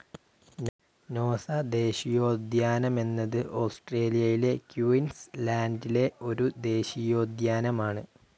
നോസ ദേശീയോദ്യാനമെന്നത് ഓസ്‌ട്രേലിയയിലെ ക്യൂൻസ്‌ ലാൻഡിലെ ഒരു ദേശീയോദ്യാനമാണ്.